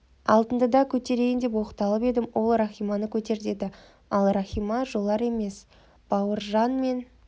алтынды да көтерейін деп оқталып едім ол рахиманы көтер деді ал рахима жолар емес бауыржан мен